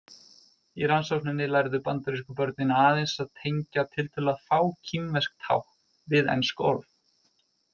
Í rannsókninni lærðu bandarísku börnin aðeins að tengja tiltölulega fá kínversk tákn við ensk orð.